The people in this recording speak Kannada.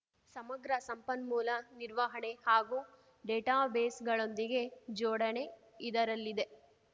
ಸಮಗ್ರ ಸಂಪನ್ಮೂಲ ನಿರ್ವಹಣೆ ಹಾಗೂ ಡೇಟಾಬೇಸ್‌ಗಳೊಂದಿಗೆ ಜೋಡಣೆ ಇದರಲ್ಲಿದೆ